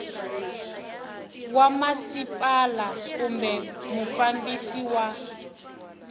wa masipala kumbe mufambisi wa